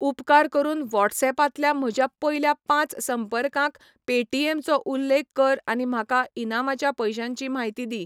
उपकार करून व्हॉट्सऍपांतल्या म्हज्या पयल्या पांच संपर्कांक पेटीएम चो उल्लेख कर आनी म्हाका इनामाच्या पयशांची म्हायती दी.